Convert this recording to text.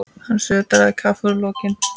Hann sötraði kaffið úr lokinu.